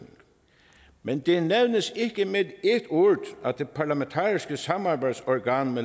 men det nævnes ikke med ét ord at det parlamentariske samarbejdsorgan